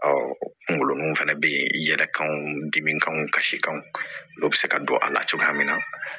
kungolo nun fana bɛ yen i yɛrɛ kanw dimi kanw kasikanw n'o bɛ se ka don a la cogoya min na